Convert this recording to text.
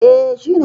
E, shi ne.